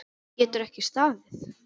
Getur ekki staðið.